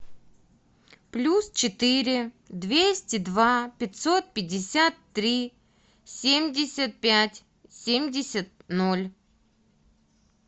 плюс четыре двести два пятьсот пятьдесят три семьдесят пять семьдесят ноль